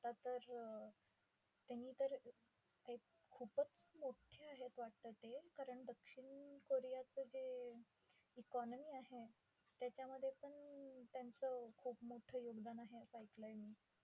आता तर त्यांनी तर एक खूपच मोठ्ठे आहेत वाटतं ते. कारण दक्षिण कोरीयाचं जे economy आहे, त्याच्यामध्ये पण त्यांचं खूप मोठं योगदान आहे, असं ऐकलय मी.